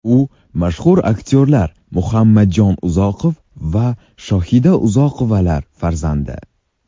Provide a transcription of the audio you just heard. U mashhur aktyorlar Muhammadjon Uzoqov va Shohida Uzoqovalar farzandi.